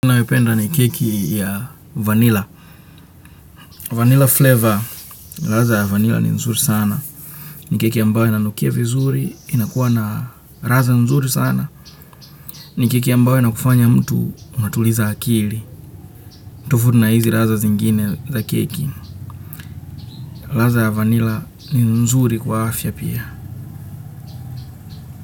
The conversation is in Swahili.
Ninayopenda ni keki ya vanila. Vanila flavor, radha ya vanila ni nzuri sana. Ni keki ambayo inanukia vizuri, inakuwa na radha nzuri sana. Ni keki ambayo inakufanya mtu, unatuliza akili. Tofauti na hizi radha zingine za keki. Radha ya vanila ni nzuri kwa afya pia.